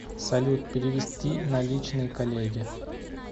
салют перевести наличные коллеге